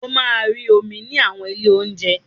O máa rí omi ní àwọn ilé ounje.